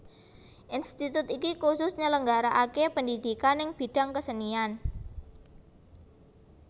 Institut iki kusus nyelenggaraake pendhidhikan neng bidang kesenian